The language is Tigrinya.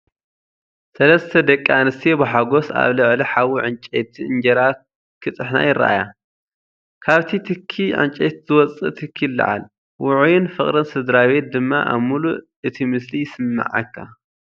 ሰለስተ ደቂ ኣንስትዮ ብሓጎስ ኣብ ልዕሊ ሓዊ ዕንጨይቲ እንጀራ ክጥሕና ይረኣያ። ካብቲ ትኪ ዕንጨይቲ ዝወጽእ ትኪ ይለዓል፣ ውዑይን ፍቕርን ስድራቤት ድማ ኣብ ምሉእ እቲ ምስሊ ይስመዓካ።